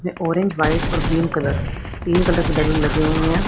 Orange white और green colour तीन colour तीन कलर के बैलून लगे हुए हैं।